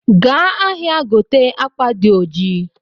Gaa ahịa, gote akwa di oji